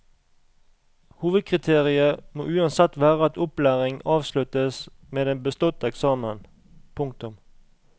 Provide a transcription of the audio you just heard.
Hovedkriteriet må uansett være at opplæringen avsluttes med en bestått eksamen. punktum